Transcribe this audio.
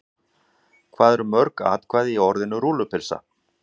Hvað eru mörg atkvæði í orðinu rúllupylsa?